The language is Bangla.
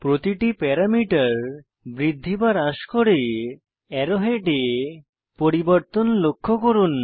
প্রতিটি প্যারামিটার বৃদ্ধি বা হ্রাস করে অ্যারো হেডে পরিবর্তন লক্ষ্য করুন